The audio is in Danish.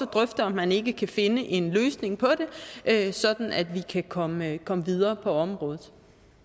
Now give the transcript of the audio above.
drøfte om man ikke kan finde en løsning på det sådan at vi kan komme komme videre på området